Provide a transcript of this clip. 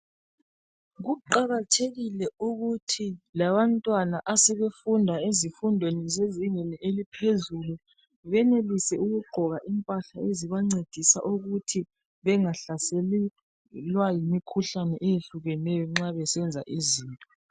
Kuqakathekile ukuthi labantwana asebefunda ezifundweni zezingeni eliphezulu benelise ukugqoka impahla ezingabancedisa ukuthi bengahlaselwa yimikhuhlane ehlukeneyo nxa besenza izinto.